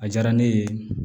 A diyara ne ye